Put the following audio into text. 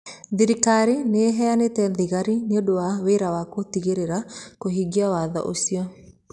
Thirikari nĩ ĩheanĩte thigari nĩ ũndũ wa wĩra wa gũtigĩrĩra kũhingia watho ũcio.